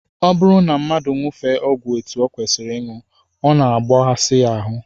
Ọ bụrụ na mmadụ aṅụfee ọgwụ etu ọ kwesịrị ịṅụ, ọ na-ebughasị ya ahụ